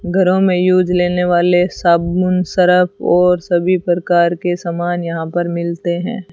घरों में यूज़ लेने वाले साबुन सरफ़ और सभी प्रकार के समान यहां पर मिलते हैं।